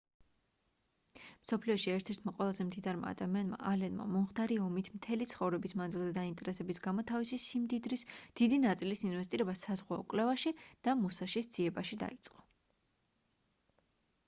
მსოფლიოში ერთ-ერთმა ყველაზე მდიდარმა ადამიანმა ალენმა მომხდარი ომით მთელი ცხოვრების მანძილზე დაინტერესების გამო თავისი სიმდიდრის დიდი ნაწილის ინვესტირება საზღვაო კვლევაში და მუსაშის ძიებაში დაიწყო